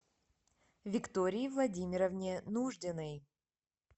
виктории владимировне нуждиной